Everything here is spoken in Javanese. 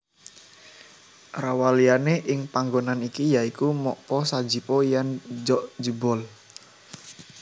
Rawaliyane ing panggonan iki ya iku Mokpo Sajipo lan Jjokjibeol